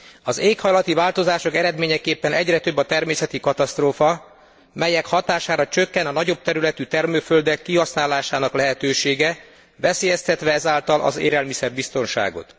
Az éghajlati változások eredményeképpen egyre több a természeti katasztrófa, melyek hatására csökken a nagyobb területű termőföldek kihasználásának lehetősége, veszélyeztetve ezáltal az élelmiszer biztonságot.